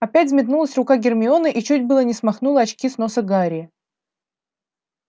опять взметнулась рука гермионы и чуть было не смахнула очки с носа гарри